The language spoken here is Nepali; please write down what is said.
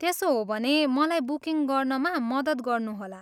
त्यसो हो भने मलाई बुकिङ गर्नमा मद्दत गर्नुहोला।